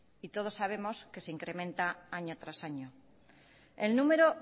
y todos sabemos que se incrementa año tras año el número